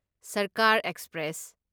ꯁꯔꯀꯥꯔ ꯑꯦꯛꯁꯄ꯭ꯔꯦꯁ